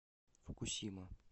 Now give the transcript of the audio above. фукусима